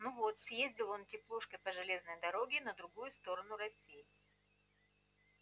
ну вот съездил он теплушкой по железной дороге на другую сторону россии